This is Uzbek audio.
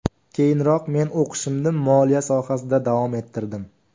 Keyinroq men o‘qishimni moliya sohasida davom ettirdim.